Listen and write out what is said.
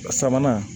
Sabanan